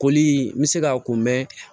Koli n bɛ se k'a kun mɛ